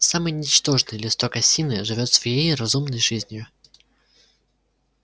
самый ничтожный листок осины живёт своей разумной жизнью